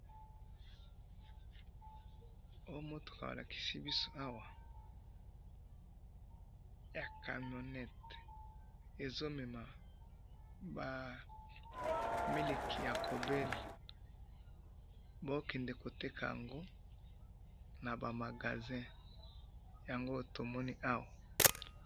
Oyo mutuka balakisi biso awa, ya camionette, ezomema ba miliki ya cowbell, baokende koteka yango naba magazin, yango oyo tomoni awa.